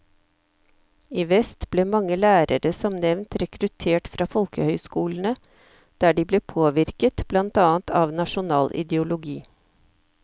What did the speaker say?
I vest ble mange lærere som nevnt rekruttert fra folkehøyskolene, der de ble påvirket blant annet av nasjonal ideologi.